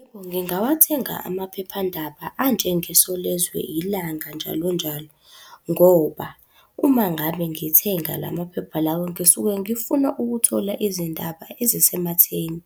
Yebo ngingawathenga amaphephandaba anjengeSolezwe, iLanga, njalo njalo, ngoba, uma ngabe ngithenga la maphepha lawo ngisuke ngifuna ukuthola izindaba ezisematheni.